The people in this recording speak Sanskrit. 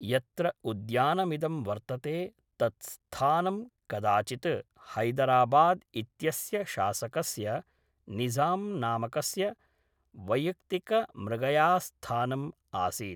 यत्र उद्यानमिदं वर्तते तत् स्थानं कदाचित् हैदराबाद् इत्यस्य शासकस्य निज़ाम्नामकस्य वैयक्तिकमृगयास्थानम् आसीत्।